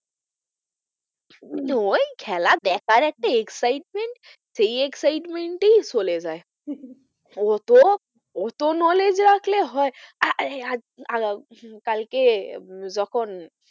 ওই খেলা দেখার একটা excitement সেই excitement এই চলেযাই অতো অতো knowledge রাখলে হয় কালকে আহ যখন